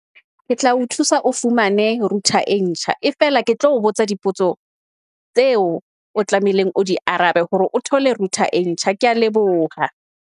Ke tla o thusa o fumane router e ntjha e fela, ke tlo botsa dipotso tseo o tlamehileng o di arabe hore o thole router e ntjha. Kea leboha.